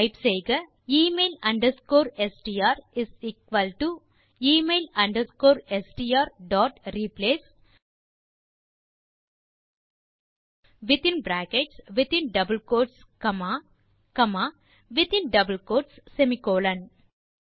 type செய்க email underscore STR is equal to email underscore STR dot replace பின் in brackets in double quotes comma பின் in another double quotes semicolon